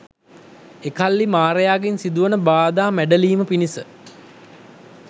එකල්හි මාරයාගෙන් සිදුවන බාධා මැඬලීම පිණිස